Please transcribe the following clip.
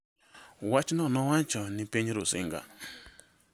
Wachno nowacho ni piny Rusinga .